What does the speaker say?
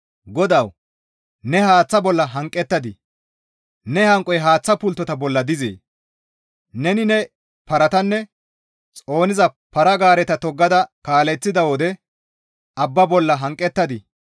GODAWU! Ne haaththata bolla hanqettadii? Ne hanqoy haaththa pulttota bolla dizee? Neni ne paratanne xooniza para-gaareta toggada kaaleththida wode abba bolla hanqettadii?